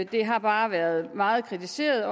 det har været meget kritiseret